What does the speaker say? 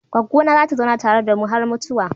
Goggona za ta zauna tare da mu har mutuwa.